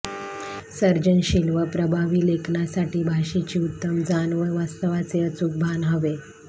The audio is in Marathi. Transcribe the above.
सर्जनशिल व प्रभावी लेखनासाठी भाषेची उत्तम जाण व वास्तवाचे अचूक भान हवे